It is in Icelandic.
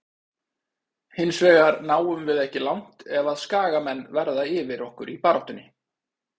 Hinsvegar náum við ekki langt ef að skagamenn verða yfir okkur í baráttunni.